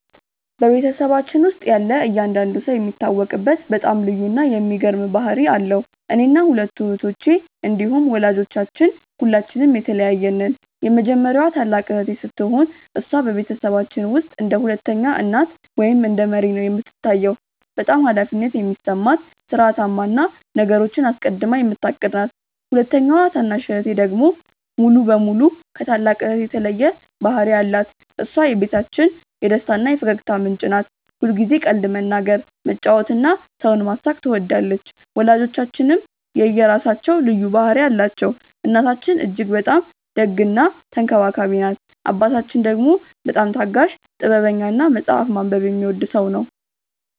በቤተሰባችን ውስጥ ያለ እያንዳንዱ ሰው የሚታወቅበት በጣም ልዩ እና የሚገርም ባህሪ አለው። እኔና ሁለቱ እህቶቼ እንዲሁም ወላጆቻችን ሁላችንም የተለያየን ነን። የመጀመሪያዋ ታላቅ እህቴ ስትሆን፣ እሷ በቤተሰባችን ውስጥ እንደ ሁለተኛ እናት ወይም እንደ መሪ ነው የምትታየው። በጣም ኃላፊነት የሚሰማት፣ ሥርዓታማ እና ነገሮችን አስቀድማ የምታቅድ ናት። ሁለተኛዋ ታናሽ እህቴ ደግሞ ሙሉ በሙሉ ከታላቅ እህቴ የተለየ ባህሪ አላት። እሷ የቤታችን የደስታ እና የፈገግታ ምንጭ ናት። ሁልጊዜ ቀልድ መናገር፣ መጫወት እና ሰውን ማሳቅ ትወዳለች። ወላጆቻችንም የራሳቸው ልዩ ባህሪ አላቸው። እናታችን እጅግ በጣም ደግ እና ተንከባካቢ ናት። አባታችን ደግሞ በጣም ታጋሽ፣ ጥበበኛ እና መጽሐፍ ማንበብ የሚወድ ሰው ነው።